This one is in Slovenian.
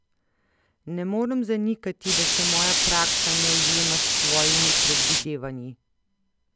Ne morem zanikati, da se moja praksa ne ujema s tvojimi predvidevanji.